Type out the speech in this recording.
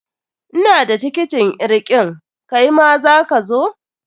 Ina da tiketin irgin, kaima za ka zo?